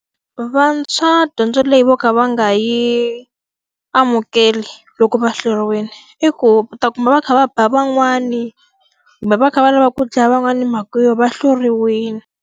Vantshwa dyondzo leyi vo ka va nga yi amukeli loko va hluriwile, i ku u ta kuma va kha va ba van'wani, kumbe va kha va lava ku dlaya van'wana hi mhaka yo va hluriwile.